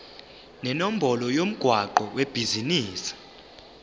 nenombolo yomgwaqo webhizinisi